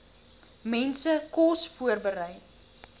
mense kos voorberei